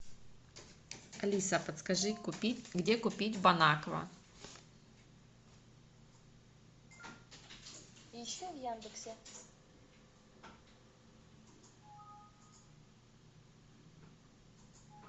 алиса подскажи где купить бонаква